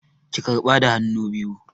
Ki karɓa da hannu biyu!